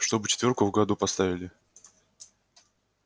чтобы четвёрку в году поставили